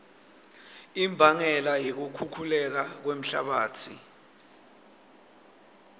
imbangela yekukhukhuleka kwemhlabatsi